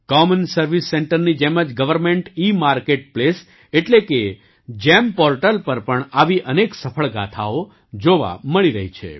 common service સેન્ટરની જેમ જ ગવર્નમેન્ટ ઇમાર્કેટ પ્લેસ એટલે કે જીઇએમ પૉર્ટલ પર પણ આવી અનેક સફળ ગાથાઓ જોવા મળી રહી છે